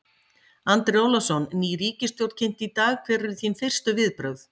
Andri Ólafsson: Ný ríkisstjórn kynnt í dag, hver eru þín fyrstu viðbrögð?